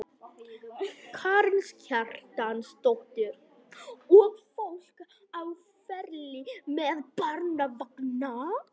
Karen Kjartansdóttir: Og fólk á ferli með barnavagna?